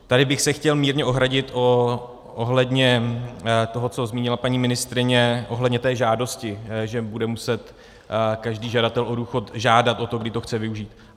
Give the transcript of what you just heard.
Tady bych se chtěl mírně ohradit ohledně toho, co zmínila paní ministryně ohledně té žádosti, že bude muset každý žadatel o důchod žádat o to, kdy to chce využít.